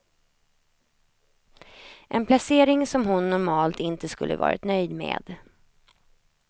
En placering som hon normalt inte skulle varit nöjd med.